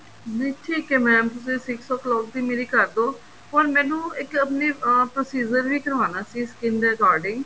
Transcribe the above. ਨਹੀਂ ਠੀਕ ਹੈ mam ਤੁਸੀਂ six o clock ਦੀ ਮੇਰੀ ਕਰਦੋ or ਮੈਨੂੰ ਇੱਕ ਆਪਣੇ ਅਹ procedure ਵੀ ਕਰਵਾਣਾ ਸੀ skin ਦੇ regarding